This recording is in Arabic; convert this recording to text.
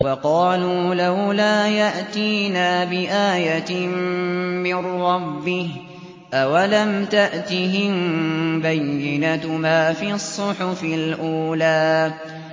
وَقَالُوا لَوْلَا يَأْتِينَا بِآيَةٍ مِّن رَّبِّهِ ۚ أَوَلَمْ تَأْتِهِم بَيِّنَةُ مَا فِي الصُّحُفِ الْأُولَىٰ